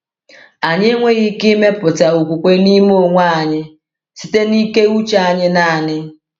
Anyị enweghị ike ịmepụta okwukwe n’ime onwe anyị site na ike uche anyị naanị.